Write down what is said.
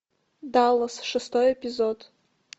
даллас шестой эпизод